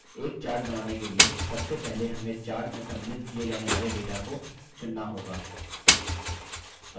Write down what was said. एक chart बनाने के लिए सबसे पहले हमें chart में सम्मिलित किये जाने वाले data को चुनना होगा